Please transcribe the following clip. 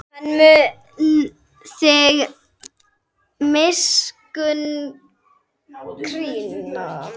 Hann mun þig miskunn krýna.